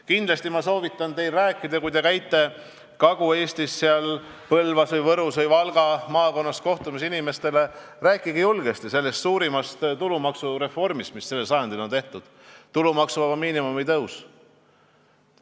Kindlasti soovitan ma teil, kui te käite Kagu-Eestis, Põlva, Võru või Valga maakonnas kohtumas inimestega, rääkida julgesti suurimast tulumaksureformist, mis sellel sajandil on tehtud: tulumaksuvaba miinimumi tõusust.